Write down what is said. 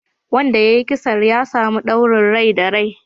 Wanda ya yi kisan ya samu ɗaurin rai da rai